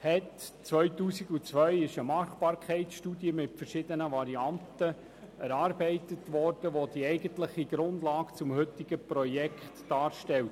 2002 wurde eine Machbarkeitsstudie mit verschiedenen Varianten erarbeitet, welche die eigentliche Grundlage des heutigen Projekts darstellt.